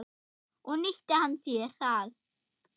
Og nýtti hann sér það.